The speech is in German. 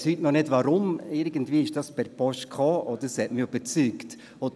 Ich weiss heute noch nicht, warum, irgendwie traf etwas per Post ein, das mich überzeugt hat.